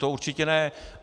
To určitě ne.